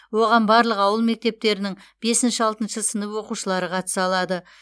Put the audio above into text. оған барлық ауыл мектептерінің бесінші алтыншы сынып оқушылары қатыса алады